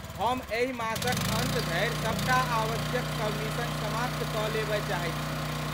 हम एहि मासक अन्त धरि सबटा आवश्यक सबमिशन समाप्त कऽ लेबय चाहैत छी।